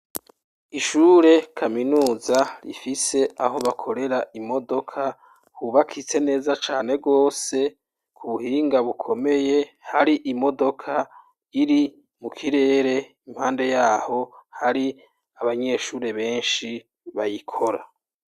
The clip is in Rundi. Ishure kaminuza rifise aho bakorera imodoka hubakitse neza cane gose ku buhinga bukomeye, hari imodoka iri mu kirere, impande y'aho hari abanyeshure benshi bayikora.